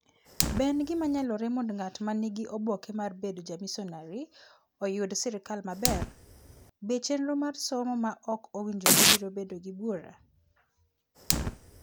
Be en gima nyalore mondo ng'at ma nigi oboke mar bedo jamisonari oyud sirkal maber? Be chenro mar somo ma ok owinjore biro bedo gi bura?